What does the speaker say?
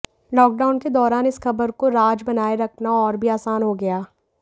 lockdown के दौरान इस खबर को राज बनाए रखना और भी आसान हो गया